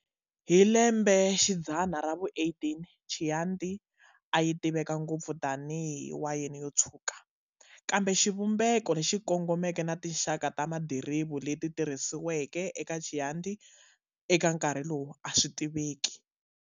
Hi lembe xidzana ravu 18 Chianti ayi tiveka ngopfu tani hi wayeni yotshuka, kambe xivumbeko lexi kongomeke na tinxaka ta madiriva leti tirhisiweke ku endla Chianti eka nkarhi lowu aswi tiveki.